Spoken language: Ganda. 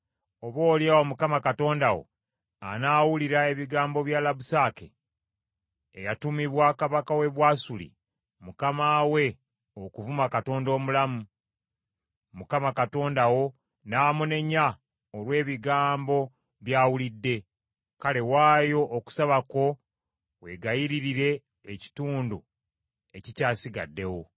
Oboolyawo Mukama Katonda wo anaawulira ebigambo bya Labusake eyatumibwa kabaka w’e Bwasuli mukama we okuvuma Katonda omulamu, Mukama Katonda wo n’amunenya olw’ebigambo by’awulidde: Kale waayo okusaba kwo wegayiririre ekitundu ekikyasigaddewo.”